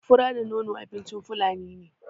Fura da nono abincin fulani ne